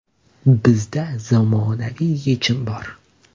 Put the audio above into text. Bizda zamonaviy yechim bor!